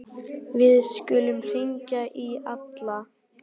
Við skulum hringja í Alla.